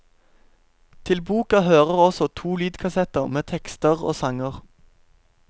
Til boka hører også to lydkassetter med tekster og sanger.